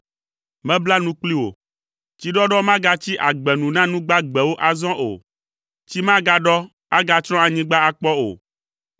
Mebla nu kpli wò. Tsiɖɔɖɔ magatsi agbe nu na nu gbagbewo azɔ o. Tsi magaɖɔ, agatsrɔ̃ anyigba akpɔ o.